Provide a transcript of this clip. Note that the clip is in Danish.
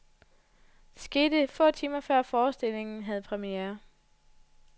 Det skete få timer før forestillingen havde premiere.